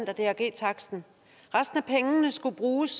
af drg taksten resten af pengene skulle bruges